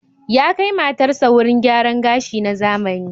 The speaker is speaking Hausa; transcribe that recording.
Ya kai matarsa wurin gyaran gashi na zamani.